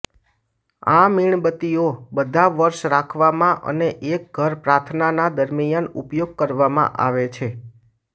આ મીણબત્તીઓ બધા વર્ષ રાખવામાં અને એક ઘર પ્રાર્થનાના દરમિયાન ઉપયોગ કરવામાં આવે છે